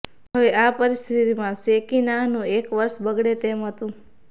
હવે આ પરિસ્થિતિમાં શેકીનાહનું એક વર્ષ બગડે તેમ હતું